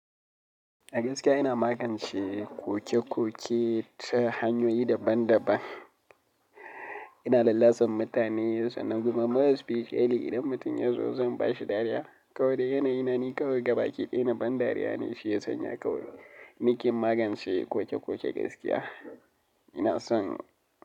Gaskiya ina magance koke-koke ta hanyoyi daban-daban. Ina lallasa mutane sanna kuma more esfeshiyalo, idan mutum ya zo zan bashi dariya. Kawai dai yana yina ni kawai gabaƙi ɗaya na ban dariya ne shiyasan ya kawai. Ni ke magance koke-koke gaskiya. Ina son.